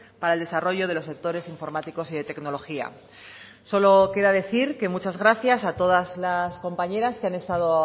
para el desarrollo de los sectores informáticos y de tecnología solo queda decir que muchas gracias a todas las compañeras que han estado